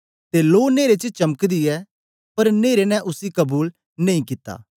ते लो नेरे च चमकदी ऐ पर न्हेरे ने उसी कबूल नेई कित्ता